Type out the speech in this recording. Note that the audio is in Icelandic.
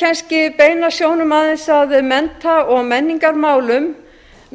kannski beina sjónum aðeins að mennta og menningarmálum